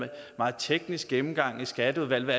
meget teknisk gennemgang i skatteudvalget